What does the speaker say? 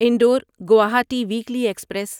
Indore Guwahati weekly express